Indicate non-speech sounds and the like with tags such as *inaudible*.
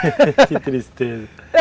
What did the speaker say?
*laughs* Que tristeza.